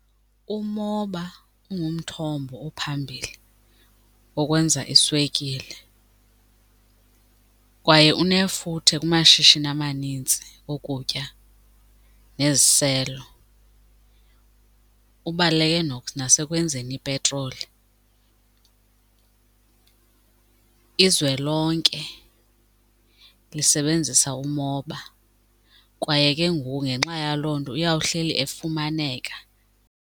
Umoba ungumthombo ophambili wokwenza iswekile kwaye unefuthe kumashishini amanintsi okutya neziselo, ubaluleke nasekwenzeni ipetroli. Izwe lonke lisebenzisa umoba kwaye ke ngoku ngenxa yaloo nto uyawuhleli efumaneka.